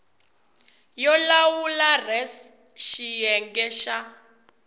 yo lawula res xiyenge xa